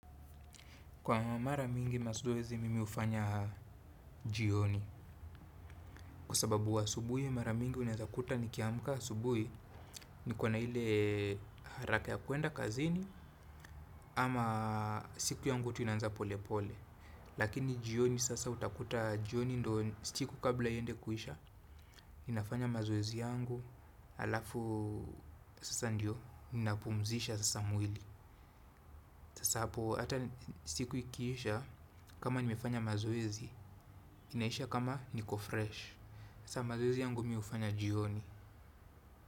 Kwa mara mingi mazoezi mimi hufanya jioni kwa sababu asubuhi mara mingi unaweza kuta nikiamka asubuhi niko na ile haraka ya kwenda kazini ama siku yangu tunaanza pole pole. Lakini jioni sasa utakuta jioni ndo siku kabla iende kuisha ninafanya mazoezi yangu alafu sasa ndio ninapumzisha sasa mwili. Sasa hapo ata siku ikiisha kama nimefanya mazoezi, inaisha kama niko fresh. Sasa mazoezi yangu mimi hufanya jioni.